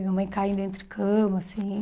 Minha mãe caindo entre cama, assim.